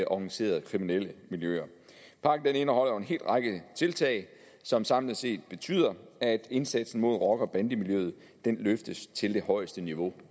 organiserede kriminelle miljøer pakken indeholder jo en hel række tiltag som samlet set betyder at indsatsen mod rocker og bandemiljøet løftes til det højeste niveau